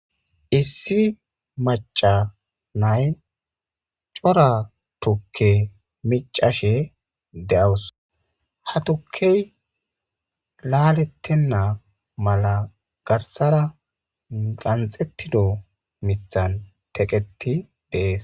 Issi maca nay cora tukke micashe de'wus ha tukey laalettenna mala garsara qanxettido mithan teqeti dees